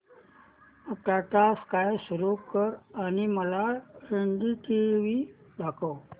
Tata Sky सुरू कर आणि मला एनडीटीव्ही दाखव